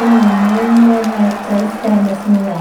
in omenjene Celjske Mesnine.